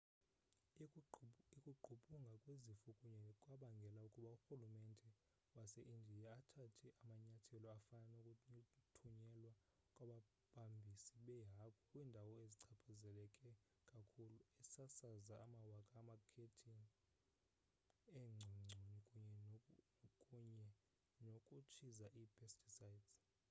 ukugqbhuka kwesifo kuye kwabangela ukuba urhulumente wase-indiya athathe amanyathelo afana nokuthunyelwa kwababambisi beehagu kwiindawo ezichaphazeleke kakhulu esasaza amawaka amakhethini eengcongconi kunye nokutshiza i-pesticides